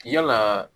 Yalaa